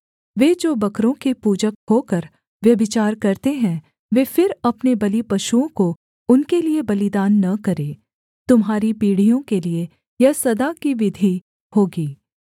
वे जो बकरों के पूजक होकर व्यभिचार करते हैं वे फिर अपने बलिपशुओं को उनके लिये बलिदान न करें तुम्हारी पीढ़ियों के लिये यह सदा की विधि होगी